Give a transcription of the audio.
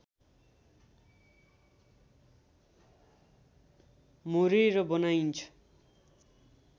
मोरेर बनाइन्छ